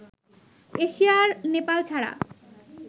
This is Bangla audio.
এশিয়ার নেপাল ছাড়া